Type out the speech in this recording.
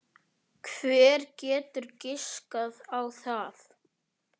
Hver getur giskað á það?